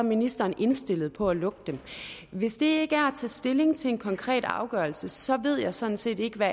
ministeren indstillet på at lukke dem hvis det ikke er at stilling til en konkret afgørelse så ved jeg sådan set ikke hvad